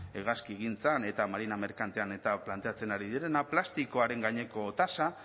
hegazkigintzan eta marina merkantean eta planteatzen ari direna plastikoaren gaineko tasa